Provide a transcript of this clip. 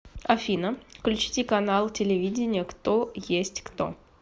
афина включите канал телевидения кто есть кто